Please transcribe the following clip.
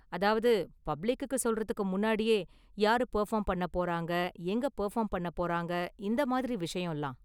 அதாவது பப்ளிக்குக்கு சொல்றதுக்கு முன்னாடியே யாரு பெர்ஃபார்ம் பண்ண போறாங்க எங்க பெர்ஃபார்ம் பண்ண போறாங்க இந்த மாதிரி விஷயம்லாம்.